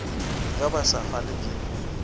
ge ba sa kgalwe ke